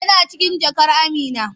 Yana cikin jakar Amina.